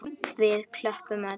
Við klöppum öll.